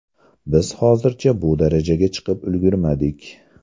Biz hozircha bu darajaga chiqib ulgurmadik.